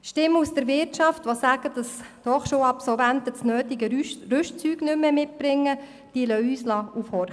Stimmen aus der Wirtschaft, die sagen, dass die Hochschulabsolventen das nötige Rüstzeug nicht mehr mitbrächten, lassen uns aufhorchen.